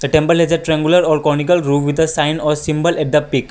temperature triangular are conical row with the sign a symbo of the pic.